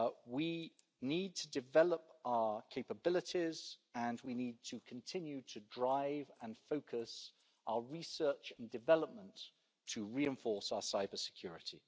We need to develop our capabilities, and we need to continue to drive and focus our research and development to reinforce our cyber-security.